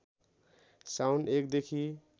साउन १ देखि